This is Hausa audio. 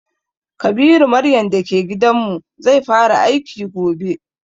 Kabiru maryan da ke gidan mu, zai fara aiki gobe.